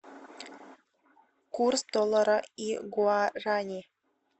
курс доллара и гуарани